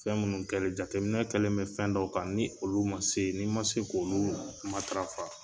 Fɛn munnu kɛli, jateminɛ kɛlen bɛ fɛn dɔw kan, ni olu ma se, n'i ma se k'olu matarafa